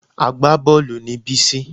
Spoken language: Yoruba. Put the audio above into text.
Agbábọ́ọ̀lù ni Bísí